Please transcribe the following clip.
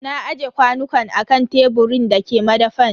Na aje kwanukan a kan teburin da ke madafan.